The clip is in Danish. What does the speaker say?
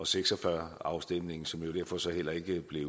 seks og fyrre afstemningen som jo derfor så heller ikke blev